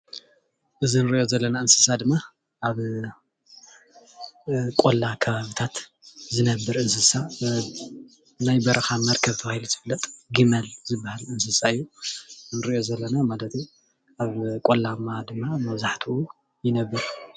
እዚ እንሪኦ ዘለና እንስሳ ድማ ኣብ ቆላ ከባቢታት ዝነብር እንስሳ ናይ በረካ መርከብ ተባሂሉ ዝፍለጥ ጊመል ዝበሃል እንስሳ እዩ ንሪኦ ዘለና ማለት እዩ፡፡ ኣብ ቆላማ ድማ መብዛሕትኡ ይነብር፡፡